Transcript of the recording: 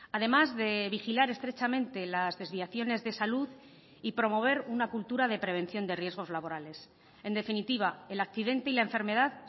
además de vigilar estrechamente las desviaciones de salud y promover una cultura de prevención de riesgos laborales en definitiva el accidente y la enfermedad